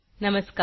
नमस्कार